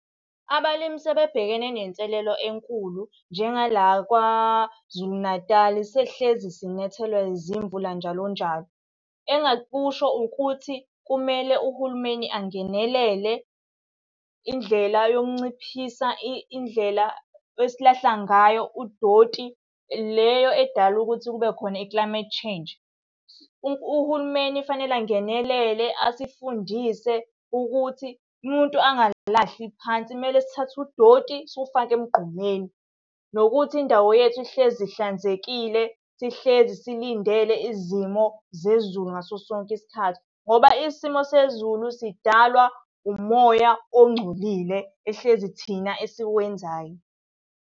Abalimi sebebhekene nenselelo enkulu njengala KwaZulu Natal, sesihlezi sinyathelwa zimvula njalo njalo. Engingakusho ukuthi kumele uhulumeni angenelele, indlela yokunciphisa indlela esilahla ngayo udoti, leyo edala ukuthi kube khona i-climate change. Uhulumeni kufanele angenelele asifundise ukuthi umuntu angalahli phansi kumele sithathe udoti siwufake emgqomeni. Nokuthi indawo yethu ihlezi ihlanzekile, sihlezi silindele izimo zezulu ngaso sonke isikhathi. Ngoba isimo sezulu sidalwa umoya ongcolile, ehlezi thina esiwenzayo.